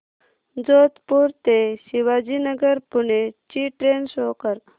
जोधपुर ते शिवाजीनगर पुणे ची train show कर